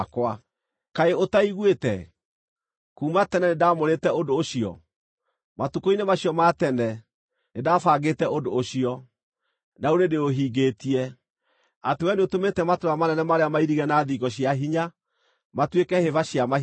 “ ‘Kaĩ ũtaiguĩte? Kuuma tene nĩndamũrĩte ũndũ ũcio, matukũ-inĩ macio ma tene nĩndabangĩte ũndũ ũcio, na rĩu nĩndĩũhingĩtie, atĩ wee nĩũtũmĩte matũũra manene marĩa mairigĩre na thingo cia hinya matuĩke hĩba cia mahiga.